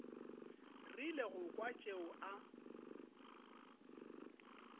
rile go kwa tšeo a